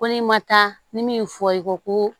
Ko n'i ma taa ni min fɔ ye ko